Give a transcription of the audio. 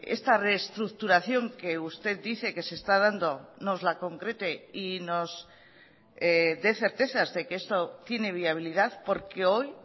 esta reestructuración que usted dice que se está dando nos la concrete y nos dé certezas de que esto tiene viabilidad porque hoy